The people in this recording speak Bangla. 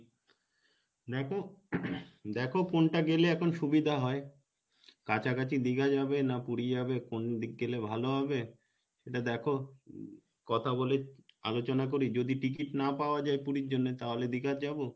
দেখো দেখো কোনটা গেলে এখন সুবিধা হয় কাছাকাছি দীঘা যাবে না পুরি যাবে কোন দিক গেলে ভালো হবে ওটা দেখো কথা বলি আলোচনা করি যদি ticket না পাওয়া যাই পুরির জন্যে তাহলে দীঘা যাবো,